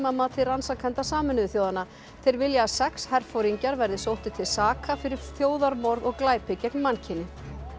að mati rannsakenda Sameinuðu þjóðanna þeir vilja að sex herforingjar verði sóttir til saka fyrir þjóðarmorð og glæpi gegn mannkyni